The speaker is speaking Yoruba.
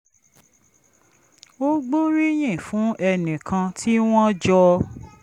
ó gbóríyìn fún ẹnì kan tí wọ́n jọ